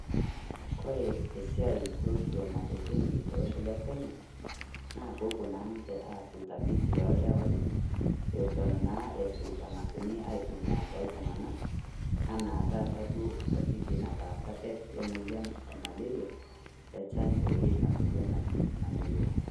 Kore esiaiai orkioma le Kemiri tolosho lekenya naa peepuo naa ninche aas utafiti ildawaii Eton naa Eton anga'asuni aitumiya tooltung'anak enaa taata duo utafiti nataasa det emoyian emaleria echanjo ena moyian naji maleria.